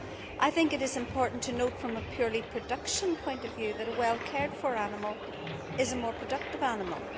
I think it is important to note from a purely production point of view that a well cared for animal is a more productive animal.